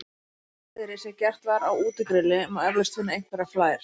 Í þessu hreiðri sem gert var á útigrilli má eflaust finna einhverjar flær.